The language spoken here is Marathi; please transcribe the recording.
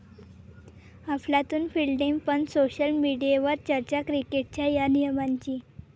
अफलातून फिल्डिंग पण सोशल मीडियवर चर्चा क्रिकेटच्या 'या' नियमाची